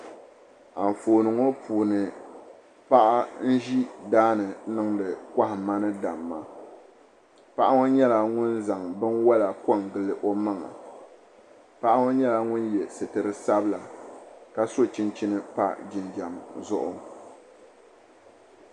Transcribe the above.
Anfooni ŋo puuni paɣa n ʒi daani n niŋdi kohamma ni damma paɣa ŋo nyɛla ŋun zaŋ binwola ko n gili o maŋa paɣa ŋo nyɛla ŋun yɛ sitiri sabila ka so chinchin pa jinjɛm zuɣu